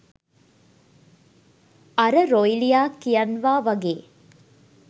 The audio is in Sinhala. අර රොයිලියා කියන්වා වගේ